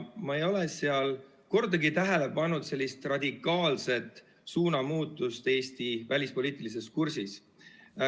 Ma ei ole seal kordagi tähele pannud radikaalset suunamuutust Eesti välispoliitilises kursis.